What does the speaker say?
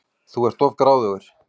Þú ert of gráðugur.